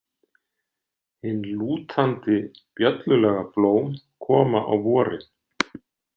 Hin lútandi, bjöllulaga blóm koma á vorin.